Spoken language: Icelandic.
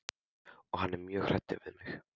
Og hann er mjög hræddur um þig.